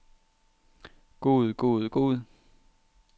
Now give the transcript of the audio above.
god god god